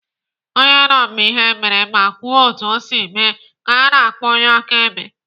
Onye nọ mgbe ihe mere ma kwuo otu o si mee ka ana akpọ onye akaebe.